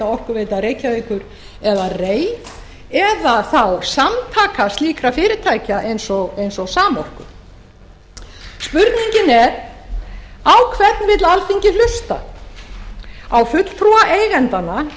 orkuveita reykjavíkur eða rei eða þá samtaka slíkra fyrirtækja eins og samorku spurningin er á hvern vill alþingi hlusta á fulltrúa eigendanna